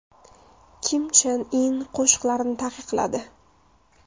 Kim Chen In qo‘shiqlarni taqiqladi.